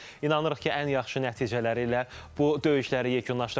İnanırıq ki, ən yaxşı nəticələri ilə bu döyüşləri yekunlaşdıracaqlar.